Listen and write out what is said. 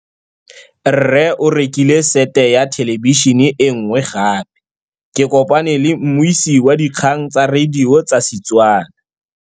Rre o rekile sete ya thêlêbišênê e nngwe gape. Ke kopane mmuisi w dikgang tsa radio tsa Setswana.